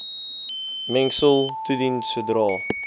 mengsel toedien sodra